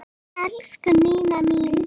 Elsku Nína mín.